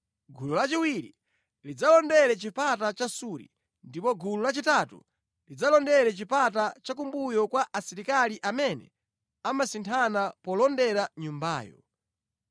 gulu lachiwiri lidzalondera Chipata cha Suri, ndipo gulu lachitatu lidzalondera chipata cha kumbuyo kwa asilikali amene amasinthana polondera nyumbayo.